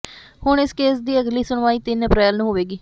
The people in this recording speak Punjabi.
ਹੁਣ ਇਸ ਕੇਸ ਦੀ ਅਗਲੀ ਸੁਣਵਾਈ ਤਿੰਨ ਅਪ੍ਰੈਲ ਨੂੰ ਹੋਵੇਗੀ